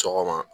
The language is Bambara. Sɔgɔma